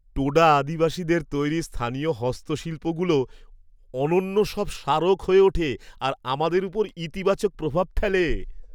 টোডা আদিবাসীদের তৈরি স্থানীয় হস্তশিল্পগুলো অনন্য সব স্মারক হয়ে ওঠে আর আমাদের ওপর ইতিবাচক প্রভাব ফেলে।